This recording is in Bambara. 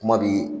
Kuma bi